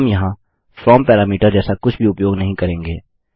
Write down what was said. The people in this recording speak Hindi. हम यहाँ फ्रॉम पैरामीटर जैसा कुछ भी उपयोग नहीं करेंगे